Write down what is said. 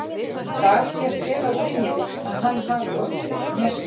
Í dag sést vel á Brynjari að hann hafi orðið fyrir hnjaski.